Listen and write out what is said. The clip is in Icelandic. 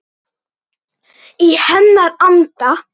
Í hennar anda.